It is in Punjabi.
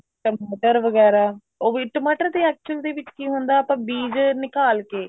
ਟਮਾਟਰ ਵਗੈਰਾ ਉਹ ਵੀ ਟਮਾਟਰ ਦੇ actually ਦੇ ਵਿੱਚ ਕੀ ਹੁੰਦਾ ਆਪਾਂ ਬੀਜ ਨਿਕਾਲ ਕੇ